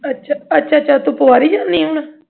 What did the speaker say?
ਅੱਛਾ ਅੱਛਾ ਤੂੰ ਪਵਾਰੀ ਜਾਨੀ ਆ ਹੁਣ